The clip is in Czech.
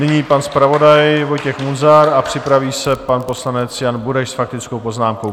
Nyní pan zpravodaj Vojtěch Munzar a připraví se pan poslanec Jan Bureš s faktickou poznámkou.